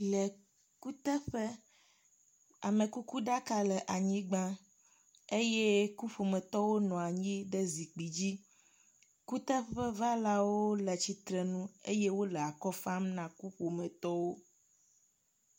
Le kuteƒe, amekuku ɖaka le anyigba eye kuƒometɔwo nɔ anyi ɖe zikpi dzi, kuteƒevalawo le tsitrenu eye wole akɔ fam na kuƒometɔwo